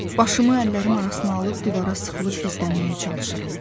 Başımı əllərim arasına alıb divara sıxılıb gizlənməyə çalışıram.